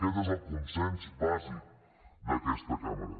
aquest és el consens bàsic d’aquesta cambra